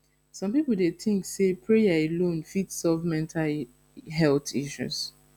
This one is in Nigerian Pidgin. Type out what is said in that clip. some people dey think say prayer alone fit solve mental health issues